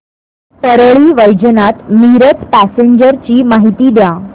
Parli Vaijnath Miraj passenger ची माहिती द्या